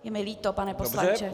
Je mi líto, pane poslanče.